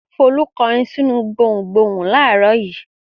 Folú ń kọrin sínú gbohùngbohùn láàárọ̀ yìí.